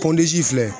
Pɔndzi filɛ